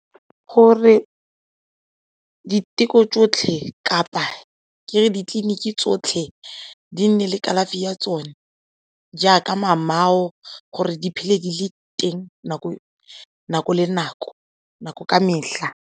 Gore diteko tsotlhe kapa ke re ditleliniki tsotlhe di nne le kalafi ya tsone jaaka gore di phele di le teng nako le nako .